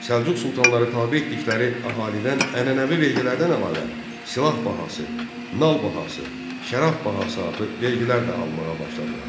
Səlcuq sultanları tabe etdikləri əhalidən ənənəvi vergilərdən əlavə silah bahası, nal bahası, şərab bahası adlı vergilər də almağa başladılar.